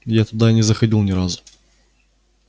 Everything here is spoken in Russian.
я туда и не заходил ни разу